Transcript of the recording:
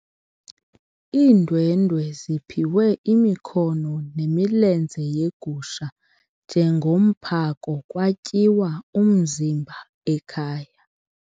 Iindwendwe ziphiwe imikhono nemilenze yegusha njengomphako kwatyiwa umzimba ekhaya.